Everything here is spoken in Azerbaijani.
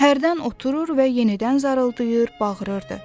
Hərdən oturur və yenidən zarıldıyır, bağırırdı.